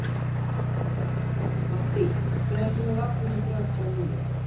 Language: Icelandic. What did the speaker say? Mattý, hvenær kemur vagn númer þrjátíu og níu?